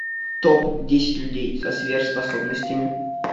топ десять людей со сверхспособностями